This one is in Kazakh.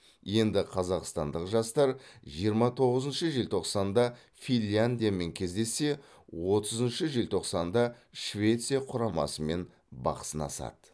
енді қазақстандық жастар жиырма тоғызыншы желтоқсанда финляндиямен кездессе отызыншы желтоқсанда швеция құрамасымен бақ сынасады